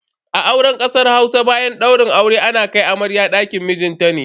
A auren kasar Hausa, bayan daurin aure ana kai amarya dakin mijinta.